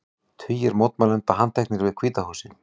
Tugir mótmælenda handteknir við Hvíta húsið